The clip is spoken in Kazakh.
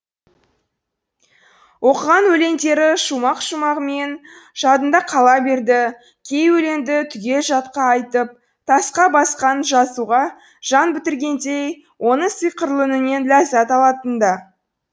оқыған өлеңдері шумақ шумағымен жадында қала берді кей өлеңді түгел жатқа айтып тасқа басқан жазуға жан бітіргендей оның сиқырлы үнінен ләззәт алатын да